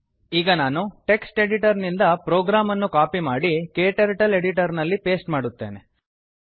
ಈಗ ನಾನು text editor ನಿಂದ ಪ್ರೋಗ್ರಾಂ ಅನ್ನು ಕಾಪಿ ಮಾಡಿ ಕ್ಟರ್ಟಲ್ ಎಡಿಟರ್ ನಲ್ಲಿ ಪೇಸ್ಟ್ ಮಾಡುತ್ತೇನೆ